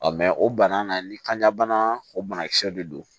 mɛ o bana na ni kanja bana o banakisɛw de don